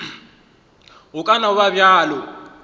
go ka no ba bjalo